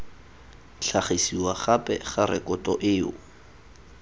tlhagisiwa gape ga rekoto eo